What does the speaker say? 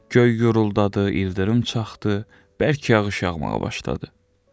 Göy guruldadı, ildırım çaxdı, bərk yağış yağmağa başladı.